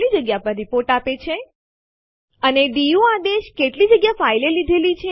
ક્યારેક file write protected હોય છે તો પછી આરએમ આદેશની મદદથી ફાઈલ રદ ન થઇ શકે